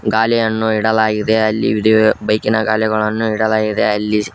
ಗಾಲಿಯನ್ನು ಇಡಲಾಗಿದೆ ಅಲ್ಲಿ ಒಂದು ಬೈಕಿ ನ ಗಾಲಿಗಳನ್ನು ಇಡಲಾಗಿದೆ ಅಲ್ಲಿ --